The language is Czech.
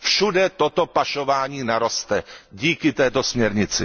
Všude toto pašování naroste díky této směrnici.